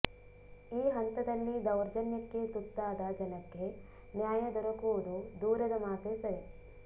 ಈ ಹಂತದಲ್ಲಿ ದೌರ್ಜನ್ಯಕ್ಕೆ ತುತ್ತಾದ ಜನಕ್ಕೆ ನ್ಯಾಯ ದೊರಕುವುದು ದೂರದ ಮಾತೆ ಸರಿ